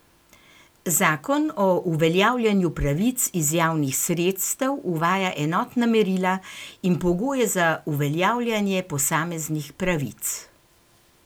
Zakon o uveljavljanju pravic iz javnih sredstev uvaja enotna merila in pogoje za uveljavljanje posameznih pravic.